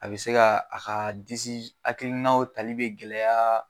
A bɛ se ka a ka disi hakilinaw tali bɛ gɛlɛya.